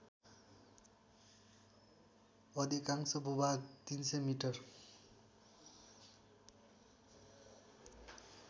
अधिकांश भूभाग ३०० मि